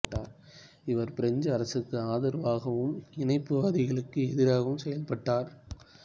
இவர் பிரெஞ்சு அரசுக்கு ஆதரவாகவும் இணைப்பு வாதிகளுக்கு எதிராகவும் செயல்பட்டார்